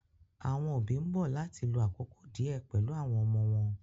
Àwọn òbí ń bọ̀ láti lo àkókò díẹ̀ pẹ̀lú àwọn ọmọ wọn.